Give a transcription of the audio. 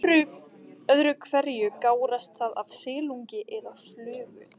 Öðru hverju gárast það af silungi eða flugu.